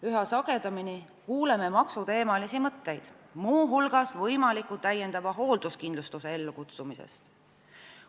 Üha sagedamini kuuleme maksuteemalisi mõtteid, muu hulgas võimaliku täiendava hoolduskindlustuse ellukutsumise teemal.